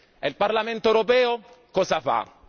E il Parlamento europeo cosa fa?